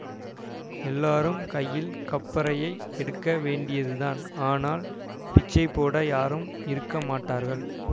எல்லாரும் கையில் கப்பறையை எடுக்க வேண்டியதுதான் ஆனால் பிச்சை போட யாரும் இருக்க மாட்டார்கள்